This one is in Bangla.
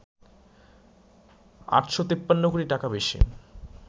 ৮৫৩ কোটি টাকা বেশি